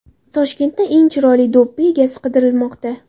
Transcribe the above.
Toshkentda eng chiroyli do‘ppi egasi qidirilmoqda.